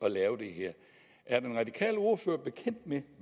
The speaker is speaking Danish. at lave det her er den radikale ordfører bekendt med